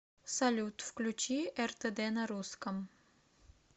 салют включи эр тэ дэ на русском